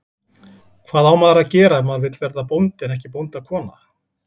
Hvað á maður að gera ef maður vill verða bóndi en ekki bóndakona?